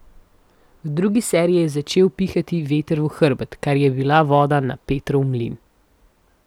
V drugi seriji je začel pihati veter v hrbet, kar je bila voda na Petrov mlin.